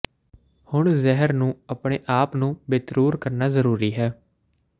ਹੁਣ ਜ਼ਹਿਰ ਨੂੰ ਆਪਣੇ ਆਪ ਨੂੰ ਬੇਤਰੂਰ ਕਰਨਾ ਜ਼ਰੂਰੀ ਹੈ